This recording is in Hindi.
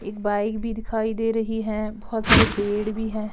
एक बाइक भी दिखाई दे रही है बहोत सारे पेड़ भी है।